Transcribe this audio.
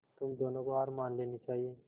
तुम दोनों को हार मान लेनी चाहियें